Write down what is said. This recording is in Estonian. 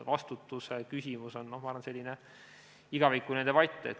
Vastutuse küsimus on, ma arvan, selline igavikuline debatt.